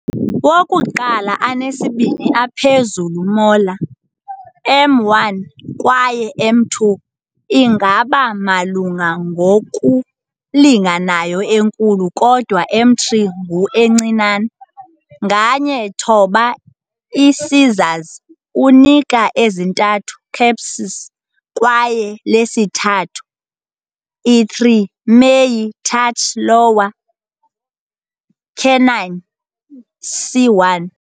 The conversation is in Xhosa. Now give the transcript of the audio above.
Wokuqala anesibini ephezulu molar, M1 kwaye M2, ingaba malunga ngokulinganayo enkulu, kodwa M3 ngu encinane. Nganye thoba incisors unika ezintathu cusps kwaye lesithathu, i3, meyi touch lower canine, C1.